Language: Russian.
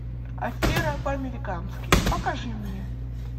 афера по американски покажи мне